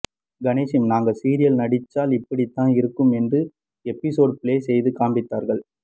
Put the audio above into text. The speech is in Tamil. கணேஷும் நாங்க சீரியல் நடிச்சால் இப்படித்தான் இருக்கும் என்று எபிசோட் பிளே செய்து காண்பித்தார்கள்